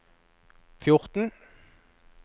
fjorten